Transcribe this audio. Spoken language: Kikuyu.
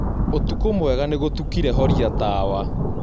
ũtũkũ mwega nĩgũtũkĩre horĩa tawa